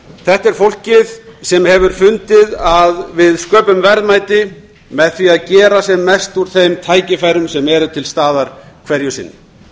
þetta er fólkið sem hefur fundið að við sköpum verðmæti með því að gera sem mest úr þeim tækifærum sem eru til staðar hverju sinni